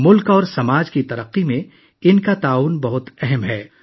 ملک اور معاشرے کی ترقی میں ان کا کردار بہت اہم ہے